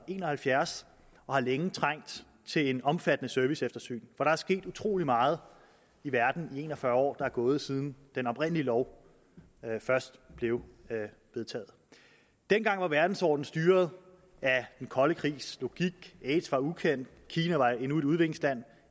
en og halvfjerds og har længe trængt til et omfattende serviceeftersyn der er sket utrolig meget i verden i de en og fyrre år der er gået siden den oprindelige lov blev vedtaget dengang var verdensordenen styret af den kolde krigs logik aids var ukendt og kina var endnu et udviklingsland